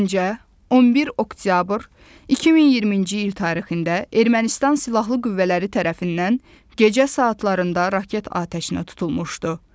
Gəncə 11 oktyabr 2020-ci il tarixində Ermənistan silahlı qüvvələri tərəfindən gecə saatlarında raket atəşinə tutulmuşdu.